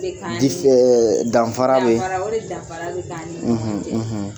O de ka ɲiii; Danfara bɛ yen; Dafanra o de danfara bɛ k'an ni ɲɔgon cɛ?